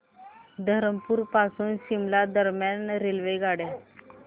धरमपुर पासून शिमला दरम्यान रेल्वेगाड्या